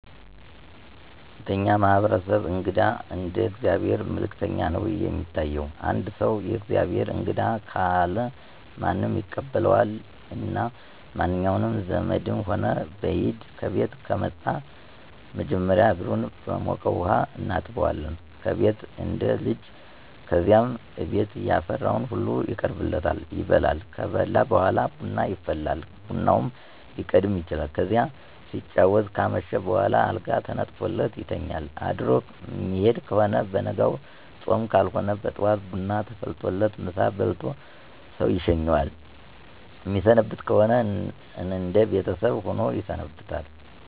በእኛ ማህበረሰብ እንግዳ እንደ የእግዚአብሔር መልእክተኛ ነው የሚታይ። አንድ ሰው። “ የእግዚአብሔር እንግዳ“ ካለ ማንም ይቀበለዋል እና መንኛውም ዘመድም ሆነ በይድ ከቤት ከመጣ መጀመሪያ እግሩን በሞቀ ውሀ እናጥበዋለን ከቤት አንድ ልጅ ከዚያ ቤት ያፈራው ሁሉ ይቀርብለታል ይበላል። ከበላ በኋላ ቡና ይፈላል ቡናውም ሊቀድም ይችላል። ከዚያ ሲጫወቱ ካመሹ በኋላ አልጋ ተነጥፎለት ይተኛል አድሮ ሚሄድ ከሆነ በነጋው ጾም ካልሆነ በጠዋት ቡና ተፈልቶለት ምሳ በልቶ ሰው ይሸኘዋል። ሚሰነብት ከሆነ እነደ ቤተሰብ ሆኖ ይሰነብታል።